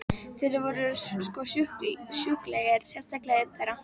Þeir voru sko sjúklegir, sérstaklega einn þeirra.